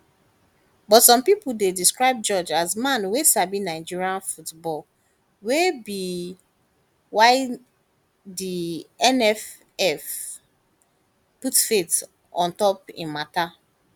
but sabi pipo describe george as a man wey sabi nigerian football wey be whydi nff put faith on top im mata